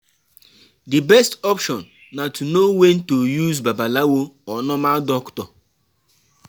Di best option na to know when to use babalawo or normal doctor